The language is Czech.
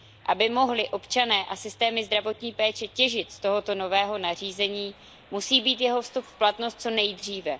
Aby mohli občané a systémy zdravotní péče těžit z tohoto nového nařízení, musí být jeho vstup v platnost co nejdříve.